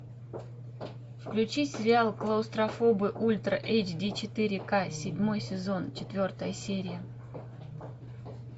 включи сериал клаустрофобы ультра эйч ди четыре ка седьмой сезон четвертая серия